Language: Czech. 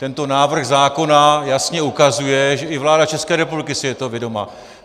Tento návrh zákona jasně ukazuje, že i vláda České republiky si je toho vědoma.